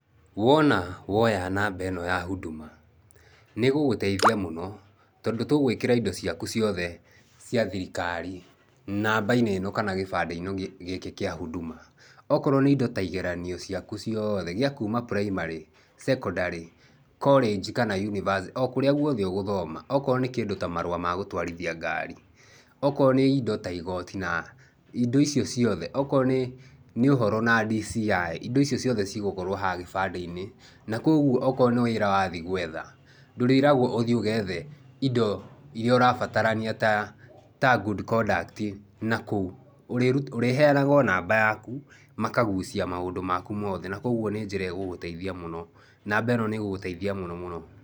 Wona woya namba eno ya Huduma, nĩgũgũteithia mũno tondũ tugwikĩra indo ciaku ciothe cia thirikari namba-inĩ ino kana gibandĩ gĩkĩ kia huduma. Okorwo ni indo ta igeranio ciaku ciothe ciakuma primary cekondarĩ, korĩnji kana yunivasĩtĩ, okũrĩa gũothe ũgũthoma. Okorwo nĩ kindu ta marũa ma gũtwarithia ngari, okorwo nĩ indo ta igoti na indo icio ciothe onakorwo ni ũhoro na DCI indo icio cigũkorwo haha gibandi-inĩ. Na kogũo nĩ wĩra wathiĩ gwetha ndũrĩragwo ũthiĩ ũgethe indo iria ũrabatarania ta good conduct na kũu urĩheanaga namba yakũ makagũcia maũndũ makũ mothe, na kogũo nĩ njĩra igũgũteithia mũno, namba ino nigũgũteithia mũno mũno.